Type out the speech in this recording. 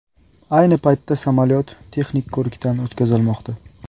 Ayni paytda samolyot texnik ko‘rikdan o‘tkazilmoqda.